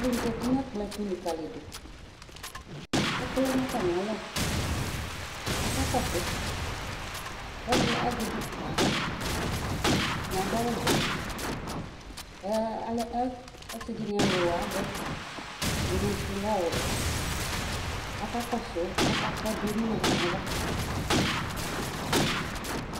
Alʋ zati n'ɛkplɔɛtʋ likǝlidʋ ,ɛkʋ lɛ n'atamɩ alɔ k'aka kɔsʋ ,k'ɛdɩ azɛ bik n'aɣla Ɛdɩnɩ adʋ awʋvɛ ɛ alɛ ɛ asɩ dɩnɩ ɛlʋ avɛ ,ɛdɩnɩ sʋ lɛ ɔwɛ Aka kɔsʋ ava ,ɛdɩ emu n'ʋɣɔ n'ava